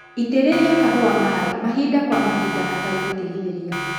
Itĩrĩria kahũa maĩ mahinda kwa mahinda hatarĩ gũtigithĩria.